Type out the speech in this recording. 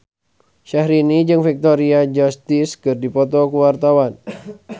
Syahrini jeung Victoria Justice keur dipoto ku wartawan